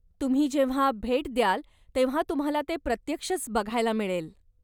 तुम्ही जेव्हा भेट द्याल, तेव्हा तुम्हाला ते प्रत्यक्षच बघायला मिळेल.